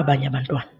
abanye abantwana.